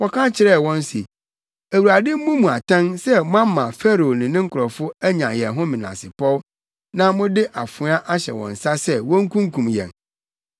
wɔka kyerɛɛ wɔn se, “ Awurade mmu mo atɛn sɛ moama Farao ne ne nkurɔfo anya yɛn ho menasepɔw, na mode afoa ahyɛ wɔn nsa sɛ wonkunkum yɛn.”